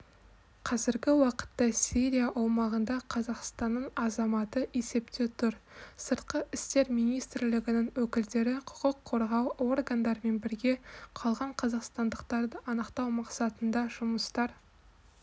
қазіргі уақытта сирия аумағында қазақстанның азаматы есепте тұр сыртқы істер министрлігінің өкілдері құқық қорғау органдарымен бірге қалған қазақстандықтарды анықтау мақсатында жұмыстар